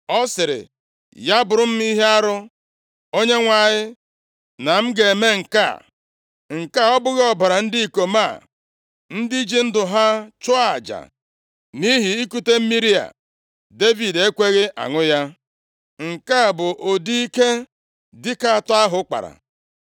Ọ sịrị, “Ya bụrụ m ihe arụ, Onyenwe anyị, na m ga-eme nke a. Nke a ọ bụghị ọbara ndị ikom a, ndị ji ndụ ha chụọ aja nʼihi ikute mmiri a?” Devid ekweghị aṅụ ya. Nke a bụ ụdị ike dike atọ ahụ kpara.